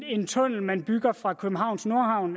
en tunnel man bygger fra københavns nordhavn